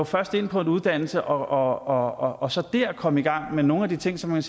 først ind på en uddannelse og og så der komme i gang med nogle af de ting som man